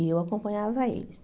E eu acompanhava eles.